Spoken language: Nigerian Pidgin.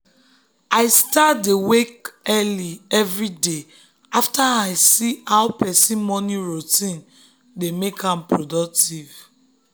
i start dey wake early every day after i see how person morning routine dey make am productive.